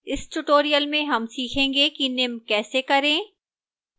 इस tutorial में हम सीखेंगे कि निम्न कैसे करें: